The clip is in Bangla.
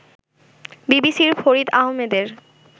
বিবিসির ফরিদ আহমেদ এর